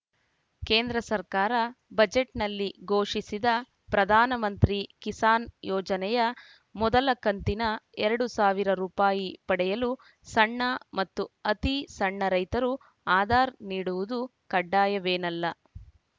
ಕೇಂದ್ರ ಸರ್ಕಾರ ಬಜೆಟ್‌ನಲ್ಲಿ ಘೋಷಿಸಿದ ಪ್ರಧಾನ ಮಂತ್ರಿ ಕಿಸಾನ್‌ ಯೋಜನೆಯ ಮೊದಲ ಕಂತಿನ ಎರಡ್ ಸಾವಿರ ರುಪಾಯಿ ಪಡೆಯಲು ಸಣ್ಣ ಮತ್ತು ಅತಿ ಸಣ್ಣ ರೈತರು ಆಧಾರ್‌ ನೀಡುವುದು ಕಡ್ಡಾಯವೇನಲ್ಲ